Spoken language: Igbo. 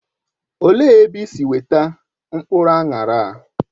Olee ebe isi weta mkpụrụ aṅara a?